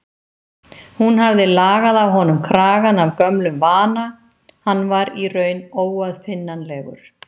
Hún hafði lagað á honum kragann af gömlum vana, hann var í raun óaðfinnanlegur.